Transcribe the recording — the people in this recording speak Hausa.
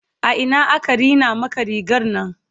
a Ina aka Rina Maka rigarnan?